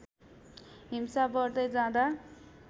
हिंसा बढ्दै जाँदा